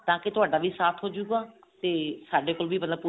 ਤਾਂਕਿ ਤੁਹਾਡਾ ਵੀ ਸਾਥ ਹੋਜੂਗਾ ਤੇ ਸਾਡੇ ਕੋਲ ਵੀ ਮਤਲਬ